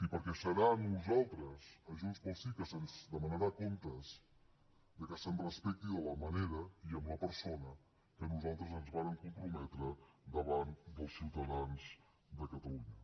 perquè serà a nosaltres a junts pel sí que se’ns demanarà comptes que se’ns respecti de la manera i amb la persona que nosaltres ens vàrem comprometre davant dels ciutadans de catalunya